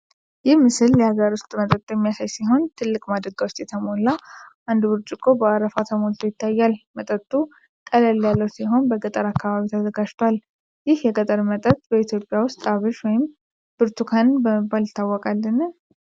ይህ ምስል የሀገር ውስጥ መጠጥ የሚያሳይ ሲሆን፣ ትልቅ ማድጋ ውስጥ የተሞላ እና አንዱ ብርጭቆ ደግሞ በአረፋ ተሞልቶ ይታያል። መጠጡ ቀላል ያለው ሲሆን በገጠር አካባቢ ተዘጋጅቷል። ይህ የገጠር መጠጥ በኢትዮጵያ ውስጥ "አብሽ" ወይም "ቡርቱካን" በመባል ይታወቃልን?